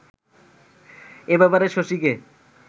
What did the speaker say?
এ ব্যাপারে শশীকে